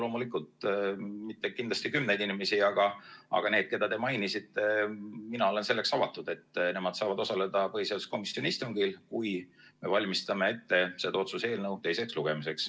Loomulikult mitte kümneid inimesi, aga need, keda te mainisite, mina olen selleks avatud, et nemad saavad osaleda põhiseaduskomisjoni istungil, kui me valmistame ette seda otsuse eelnõu teiseks lugemiseks.